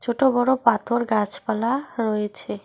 ছোট বড় পাথর গাছপালা রয়েছে।